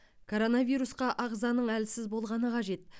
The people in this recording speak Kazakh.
коронавирусқа ағзаның әлсіз болғаны қажет